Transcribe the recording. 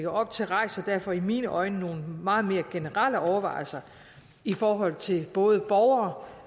op til rejser derfor i mine øjne nogle meget mere generelle overvejelser i forhold til både borgere